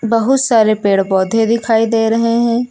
बहुत सारे पेड़ पौधे दिखाई दे रहे हैं।